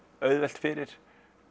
auðvelt fyrir